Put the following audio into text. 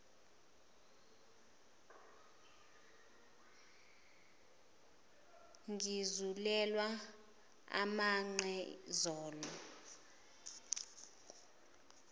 ngizulelwa amanqe zolo